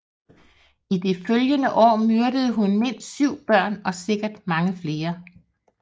I de følgende år myrdede hun mindst syv børn og sikkert mange flere